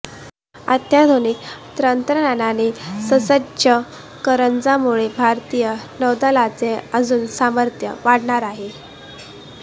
अत्याधुनिक तत्रंज्ञानाने ससज्ज करंजमुळे भारतीय नौदलाचे अजुन सामर्थ्य वाढणार आहे